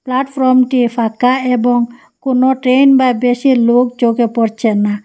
প্ল্যাটফ্রমটি ফাঁকা এবং কোন ট্রেন বা বেশি লোক চোখে পড়ছে না।